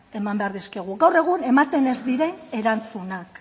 eman behar dizkiegu gaur egun ematen ez diren erantzunak